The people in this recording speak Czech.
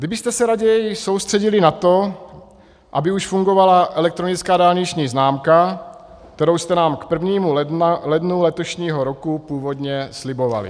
Kdybyste se raději soustředili na to, aby už fungovala elektronická dálniční známka, kterou jste nám k 1. lednu letošního roku původně slibovali.